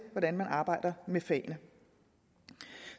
hvordan man arbejder med fagene